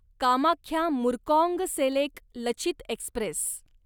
Kamakhya Murkongselek Lachit Express